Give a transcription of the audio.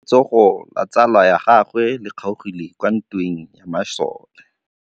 Letsôgô la tsala ya gagwe le kgaogile kwa ntweng ya masole.